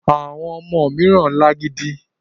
Àwọn ọmọ mìíràn lágídí.